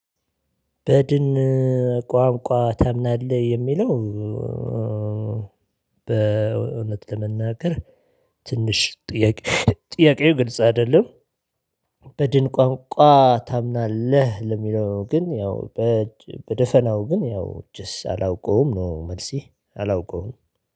በድን ቋንቋ ታምናለህ? የሚለው በእውነት ለመናገር ትንሽ ጥያቄ ጥያቄው ግልጽ አይደለም በድን ቋንቋ ታምናለህ ለሚለው ግን ያው በደፈናው ግን ያው እጅስ አላውቀውም ነው መልሴ አላውቀውም